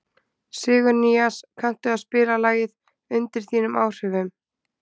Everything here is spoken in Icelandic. Sigurnýas, kanntu að spila lagið „Undir þínum áhrifum“?